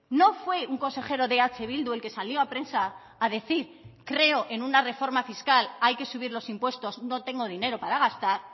no fue un consejero de eh bildu el que salió a prensa a decir creo en una reforma fiscal hay que subir los impuestos no tengo dinero para gastar